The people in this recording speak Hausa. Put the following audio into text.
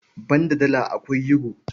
Banda Dala, akwai Yuro.